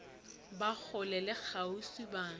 ba kgole le kgauswi ba